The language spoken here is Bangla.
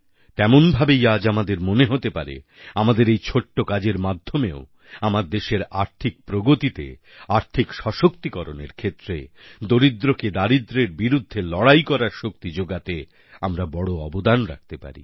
তেমন ভাবেই আজ আমাদের মনে হতে পারে আমাদের এই ছোট্ট কাজের মাধ্যমে ও আমার দেশের আর্থিক প্রগতিতে আর্থিক সশক্তিকরণ এর ক্ষেত্রে দরিদ্রকে দারিদ্র্যের বিরুদ্ধে লড়াই করার শক্তি যোগাতে আমরা বড় অবদান রাখতে পারি